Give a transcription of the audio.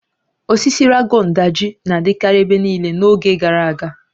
Osisi Ragon Daji na-adịkarị ebe niile n'oge gara aga